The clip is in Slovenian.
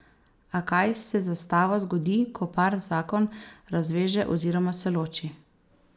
A kaj se z zastavo zgodi, ko par zakon razveže oziroma se loči?